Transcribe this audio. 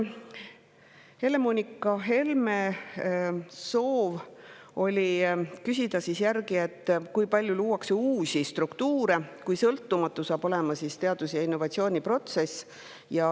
Helle-Moonika Helme küsis, kui palju luuakse uusi struktuure ning kui sõltumatu saab olema teadus‑ ja innovatsiooniprotsess.